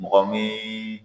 Mɔgɔ min